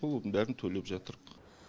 сол бәрін төлеп жатырмыз